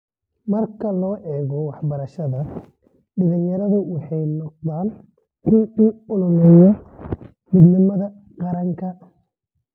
Marka loo eego waxbarashada, dhallinyaradu waxay noqdaan kuwa u ololeeya midnimada qaranka.